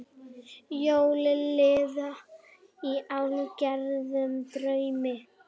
Jólin liðu í hálfgerðum draumi.